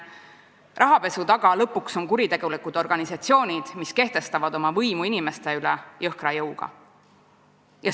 Rahapesu taga on lõpuks kuritegelikud organisatsioonid, mis kehtestavad oma võimu inimeste üle jõhkra jõuga.